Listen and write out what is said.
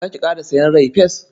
Za ki ƙara sayen rai-fes?